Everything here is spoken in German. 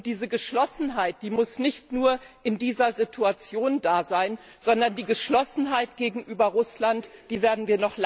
Diese Geschlossenheit muss nicht nur in dieser Situation da sein, sondern die Geschlossenheit gegenüber Russland, die werden